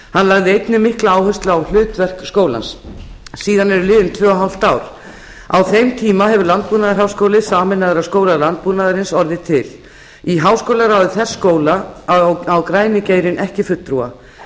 hann lagði einnig mikla áherslu á hlutverk skólans síðan eru liðin tvö ein önnur ár á þeim tíma hefur landbúnaðarháskóli sameinaður af skóla landbúnaðarins orðið til í háskólaráði þess skóla á græni geirinn ekki fulltrúa